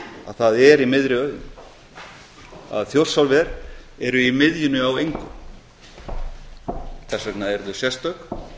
að það er í miðri auðn að þjórsárver eru í miðjunni á engu þess vegna eru þau sérstök á